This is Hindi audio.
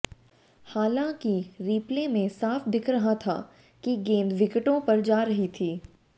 हालांकि रिप्ले में साफ दिख रहा था कि गेंद विकेटों पर जा रही थी